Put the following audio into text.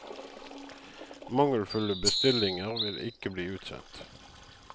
Mangelfulle bestillinger vil ikke bli utsendt.